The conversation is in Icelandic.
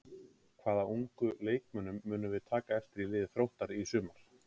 Hvaða ungu leikmönnum munum við taka eftir í liði Þróttar í sumar?